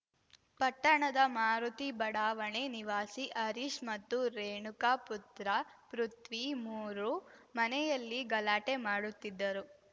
ಪಟ್ಟಣದ ಮಾರುತಿ ಬಡಾವಣೆ ನಿವಾಸಿ ಹರೀಶ್‌ ಮತ್ತು ರೇಣುಕಾ ಪುತ್ರ ಪೃಥ್ವಿಮೂರು ಮನೆಯಲ್ಲಿ ಗಲಾಟೆ ಮಾಡುತ್ತಿದ್ದರು